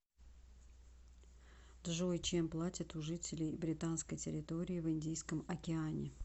джой чем платят у жителей британской территории в индийском океане